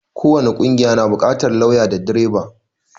ko wani ƙungiya na buƙatar lauya da direba